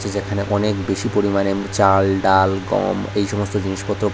যেখানে অনেক বেশি পরিমাণে চাল ডাল গম এই সমস্ত জিনিসপত্র প--